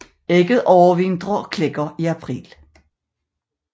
Ægget overvintrer og klækker i april